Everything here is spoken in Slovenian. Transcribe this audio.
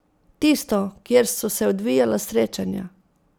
Tisto, kjer so se odvijala srečanja.